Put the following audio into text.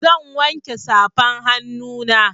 Zan wanke safan hannuna.